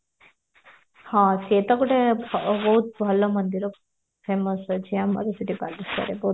ହଁ ସେତ ଗୋଟେ ବହୁତ ଭଲ ମନ୍ଦିର famous ଅଛି ଆମର ସେଠି ବାଲେଶ୍ଵରରେ